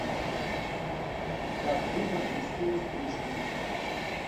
как выбрать мужскую стрижку